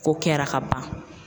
Ko kɛra ka ban.